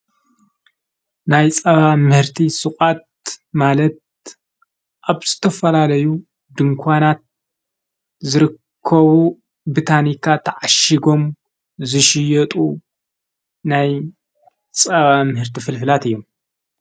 ናይ ጸባ ምህርቲ ሥቓት ማለት ኣብ ስተፍላለዩ ድንኳናት ዝርከቡ ብታኒካ ተዓሽጎም ዝሽየጡ ናይ ጸባ ምህርቲ ፍልፍላት እዮም።